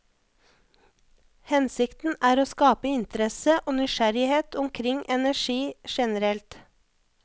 Hensikten er å skape interesse og nysgjerrighet omkring energi generelt.